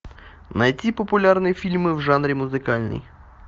найти популярные фильмы в жанре музыкальный